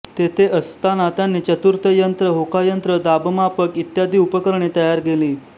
तेथे असताना त्यांनी चतुर्थ यंत्र होकायंत्र दाबमापक इत्यादी उपकरणे तयार केली